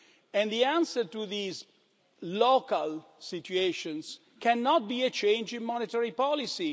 And the answer to these local situations cannot be a change in monetary policy.